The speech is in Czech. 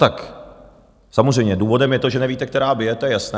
Tak samozřejmě důvodem je to, že nevíte, která bije, to je jasné.